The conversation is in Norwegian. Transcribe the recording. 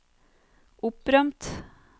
opprømt